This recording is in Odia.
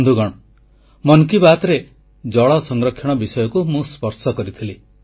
ବନ୍ଧୁଗଣ ମନ କି ବାତ୍ରେ ଜଳ ସଂରକ୍ଷଣ ବିଷୟକୁ ମୁଁ ସ୍ପର୍ଶ କରିଥିଲି